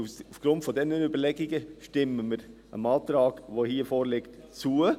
Aufgrund dieser Überlegungen stimmen wir dem vorliegenden Antrag zu.